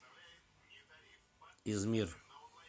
измир